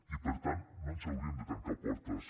i per tant no ens hauríem de tancar portes